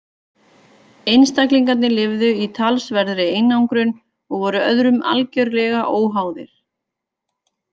Einstaklingarnir lifðu í talsverðri einangrun og voru öðrum algerlega óháðir.